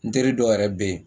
N teri dɔw yɛrɛ bɛ yen